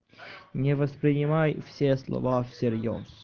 не воспринимай все слова всерьёз